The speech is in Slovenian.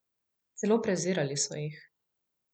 Celo prezirali so jih.